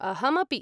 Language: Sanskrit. अहमपि।